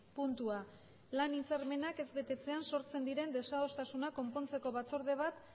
puntua hirugarren puntua lan hitzarmenak ez betetzean sortzen diren desadostasunak konpontzeko batzorde bat